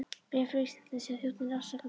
Bréf frá Íslandi, sagði þjónninn afsakandi.